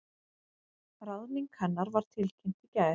Ráðning hennar var tilkynnt í gær